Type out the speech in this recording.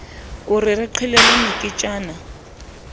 o re re qhelele moketjana